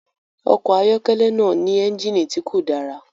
Ọkọ̀ ayọ́kẹ́lẹ́ náà ní ẹ́ńjìnnì tí kò dára